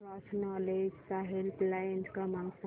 cross knowledge चा helpline क्रमांक सांगा